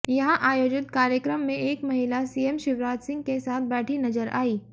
यहां आयोजित कार्यक्रम में एक महिला सीएम शिवराज सिह के साथ बैठी नजर आई